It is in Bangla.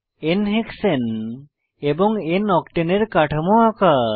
n হেক্সানে এবং n অক্টেন এর কাঠামো আঁকা